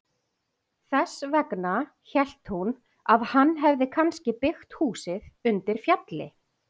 Þess vegna hélt hún að hann hefði kannski byggt húsið undir fjalli.